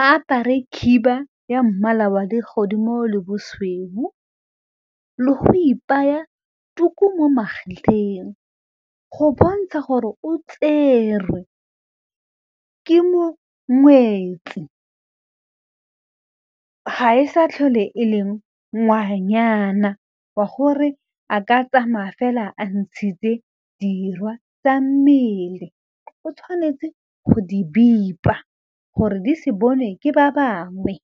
a apare khiba ya mmala wa legodimo le bosweu le go ipaya tuku mo magetleng go bontsha gore o tserwe ke mongwetsi ga e sa tlhole e le ngwanyana wa gore a ka tsamaya fela a ntshitse dirwa tsa mmele o tshwanetse go di bipa gore di se bonwe ke ba bangwe.